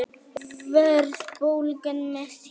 Verðbólgan mest hér